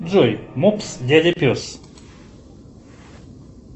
джой мопс дядя пес